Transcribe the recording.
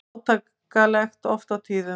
Átakanlegt oft á tíðum.